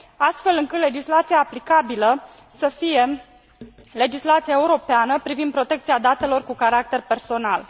astfel încât legislația aplicabilă să fie legislația europeană privind protecția datelor cu caracter personal.